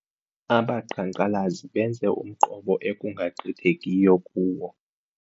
Abaqhankqalazi benze umqobo ekungagqithekiyo kuwo.